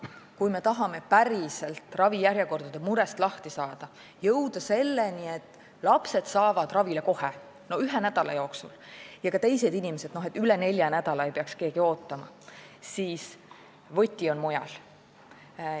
Kui me tahame ravijärjekordade murest päriselt lahti saada, jõuda selleni, et lapsed saavad ravile kohe, ühe nädala jooksul, ja ka teised inimesed ei peaks üle nelja nädala ootama, siis võti on mujal.